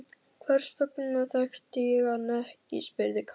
Hvers vegna þekkti ég hann ekki? spurði Karl.